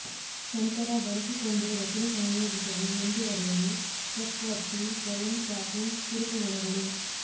ನಂತರ ಬಳಸಿಕೊಂಡು ರಚನೆ ಸಂಯೋಜಿಸಲು ಮುಂದುವರೆಯಲು ಪಕ್ ಒತ್ತಿ ಸ್ವಯಂ ಟ್ಯಾಪಿಂಗ್ ತಿರುಪುಮೊಳೆಗಳು